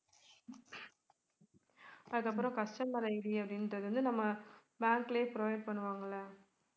அதுக்கப்புறம் customer ID அப்படின்றது வந்து நம்ம bank லயே provide பண்ணுவாங்கல்ல